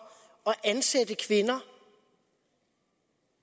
at ansætte kvinder